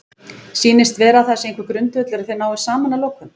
Sýnist vera að það sé einhver grundvöllur að þeir nái saman að lokum?